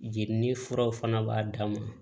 Jeli ni furaw fana b'a dama